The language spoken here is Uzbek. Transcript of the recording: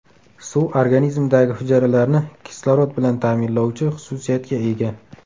Suv organizmdagi hujayralarni kislorod bilan ta’minlovchi xususiyatga ega.